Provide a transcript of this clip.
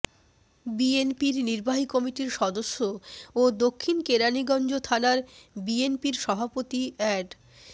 বিএনপির নির্বাহী কমিটির সদস্য ও দক্ষিণ কেরানীগঞ্জ থানা বিএনপির সভাপতি অ্যাড